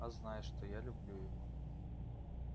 а знай что я люблю его